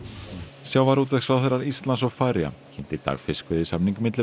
sjávarútvegsráðherrar Íslands og Færeyja kynntu í dag fiskveiðisamning milli